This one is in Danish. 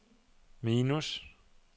minus